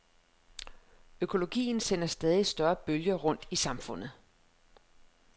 Økologien sender stadigt større bølger rundt i samfundet.